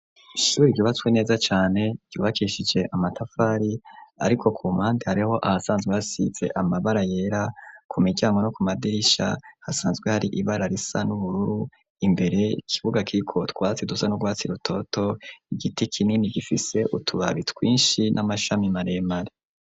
Ishure ryubatswe neza cane ryubakishije amatafari ariko ku mandi hariho ahasanzwe hasitse amabara yera ku mijyango no ku madirisha hasanzwe hari ibara risa n'uburru imbere kibuga kiko twatsi dusa nu rwatsi rutoto igiti kinini gifise utubabi twinshi n'amashami maremare.